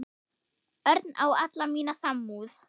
Örn á alla mína samúð.